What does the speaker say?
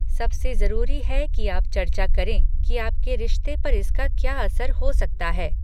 सबसे जरूरी है कि आप चर्चा करें कि आपके रिश्ते पर इसका क्या असर हो सकता है।